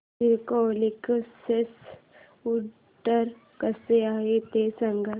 Cisco Linksys router कसा आहे ते सांग